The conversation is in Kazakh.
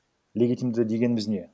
легитимді дегеніміз не